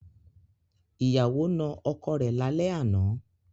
Ìyàwó na ọkọ rẹ̀ lálẹ́ àná.